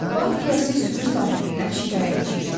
Bağ yiyəsi sürü sahibindən şikayətçi idi.